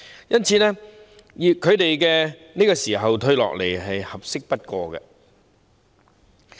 因此，他們在這個時候退下來，是合適不過的。